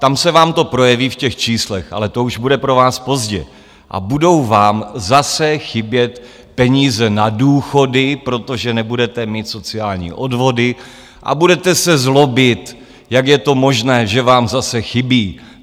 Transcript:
Tam se vám to projeví v těch číslech, ale to už bude pro vás pozdě, a budou vám zase chybět peníze na důchody, protože nebudete mít sociální odvody a budete se zlobit, jak je to možné, že vám zase chybí.